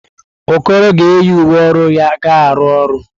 Okoro ga-eyi uwe ọrụ ya ga-arụ ọrụ.